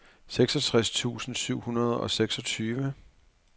seksogtres tusind syv hundrede og seksogtyve